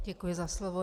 Děkuji za slovo.